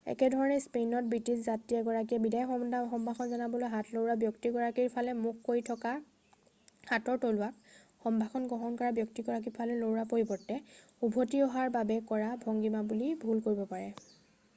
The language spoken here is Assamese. একেধৰণে স্পেইনত ব্ৰিটিছ যাত্ৰী এগৰাকীয়ে বিদায় সম্ভাষণ জনাবলৈ হাত লৰোৱা ব্যক্তি গৰাকীৰ ফালে মুখ কৰি থকা হাতৰ তলুৱাক সম্ভাষণ গ্ৰহণ কৰা ব্যক্তিগৰাকীৰ ফালে লৰোৱাৰ পৰিৱৰ্তে উভতি অহাৰ বাবে কৰা ভংগিমা বুলি ভুল কৰিব পাৰে।